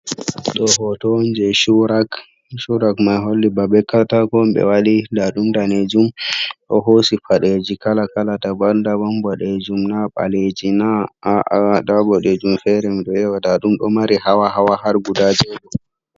Ɗo hoto on jey cuurak, cuurak may holli ba be kaataako on ɓe waɗi, nda ɗum daneejum ɗo hoosi paɗeeji kala kala, daban daban, boɗeejum na, ɓaleeji na, a`a nda boɗeejum feere mi ɗo ƴeewa, nda ɗum ɗo mari hawa hawa, har guda jeego.